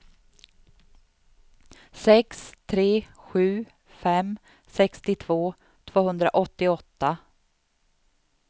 sex tre sju fem sextiotvå tvåhundraåttioåtta